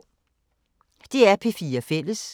DR P4 Fælles